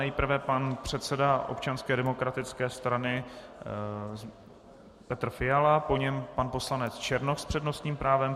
Nejprve pan předseda Občanské demokratické strany Petr Fiala, po něm pan poslanec Černoch s přednostním právem.